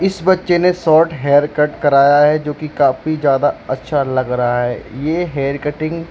इस बच्चे ने शोर्ट हेयर कट कराया है जोकि काफी ज्यादा अच्छा लग रहा है ये हेयर कटिंग --